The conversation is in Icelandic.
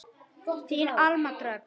Þín Alma Dröfn.